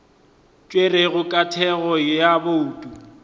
tšerwego ka thekgo ya bouto